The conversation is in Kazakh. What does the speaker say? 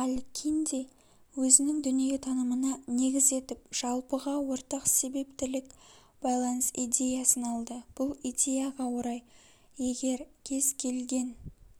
аль-кинди өзінің дүниетанымына негіз етіп жалпыға ортақ себептілік байланыс идеясын алды бұл идеяға орай егер кез келген